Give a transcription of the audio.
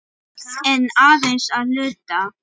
En aðeins að hluta.